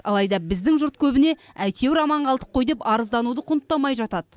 алайда біздің жұрт көбіне әйтеуір аман қалдық қой деп арыздануды құнттамай жатады